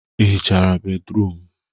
Ị hichaa bédrụum?